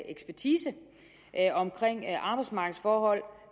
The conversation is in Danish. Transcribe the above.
ekspertise om arbejdsmarkedsforhold